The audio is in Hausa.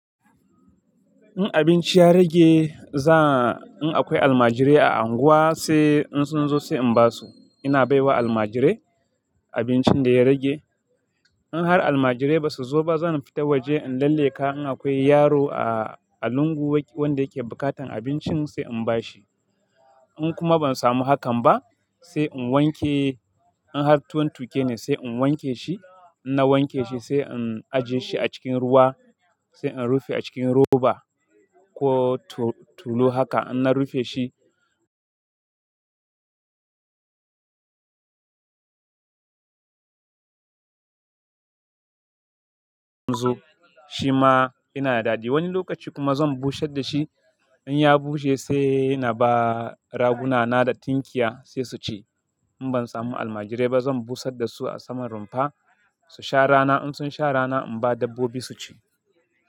In abinci ya rage, in akwai almajirai a unguwa sai in sun zo sai in ba su. Ina bai wa almajirai abincin da ya rage. In har almajirai ba su zo ba, zan fita waje in lallaika. In akwai yaro a lungu wanda yake buƙatar abincin sai in ba shi. In kuma ban samu hakan ba sai in wanke, in har tuwon tuke ne sai in wanke shi. Na wanke shi sai in ajiye shi a cikin ruwa, sai in rufe a cikin roba ko tulu. Haka in na rufe shi. Shima ina daɗi. Wani lokaci kuma zan busher da shi. In ya bushe sai na ba raguna na da tinkiya sai su ci. In ban samu almajirai ba zan busar da su a saman rumfa su sha rana. In sun sha rana in ba dabbobi su ci.